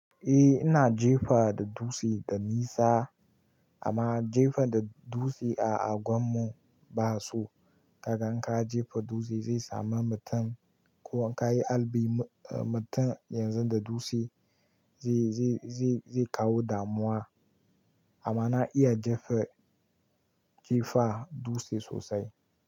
Eh ina jefa da dutse da nisa amma jefa da dutse a unguwar mu ba su, ka gan ka jefa dutse sai samu mutum ko ka yi albini mutum yanzu da dutse zai zai zai kawo damuwa amma na iya jefa jifa dutse sosai.